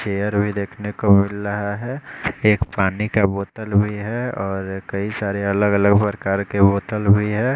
Chair भी देखने को मिल रहा है एक पानी का बोतल भी है और कई सारे अलग अलग प्रकार के बोतल भी है।